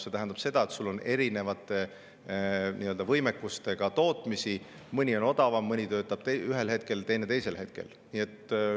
See tähendab seda, et on erinevate võimekustega tootmisi, mõni on odavam, mõni töötab ühel hetkel ja teine teisel hetkel.